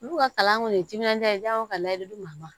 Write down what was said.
Olu ka kalan kɔni ye timinandiya ye o ka layidu ma ban